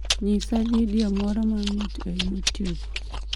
nyisa vidio moro mamit e youtube